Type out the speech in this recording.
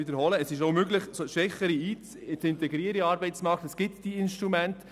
Wie schon gesagt wurde, ist es möglich, Schwächere in den Arbeitsmarkt zu integrieren;